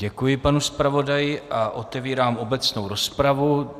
Děkuji panu zpravodaji a otevírám obecnou rozpravu.